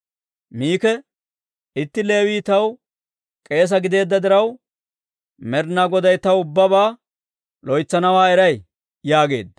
Miki, «Itti Leewii taw k'eese gideedda diraw, Med'inaa Goday taw ubbabaa loytsanawaa eray» yaageedda.